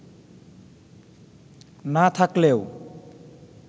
না থাকলেও